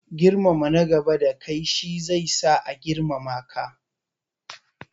Girmama nagaba da kai shi zai sa a girmama ka.